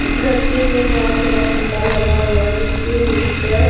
इस रस्ते में बहोत बड़ा खंभा लगा हुआ है जिसके ऊपर--